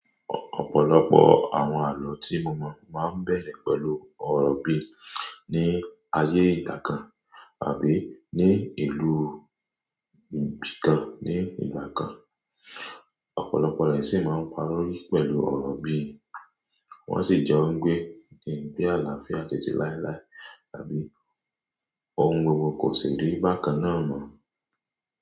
Ọ̀pọ̀lọpọ̀ àwọn àlọ́ tí mo mọ̀ máa ń bẹ̀rẹ̀ pẹ̀lú ọ̀rọ̀ bí, "ní ayé ìgbà kan àbí ní ìlú ibì kan ní ìgbà kan". Ọ̀pọ̀lọpọ̀ rẹ̀ sì máa ń parí pẹ̀lú ọ̀rọ̀ bí, "wọ́n sì jẹ́ ó ń gbé igbe àlàáfíà títí láilái àbí ohun gbogbo kò ṣì rí bákan náà mọ́".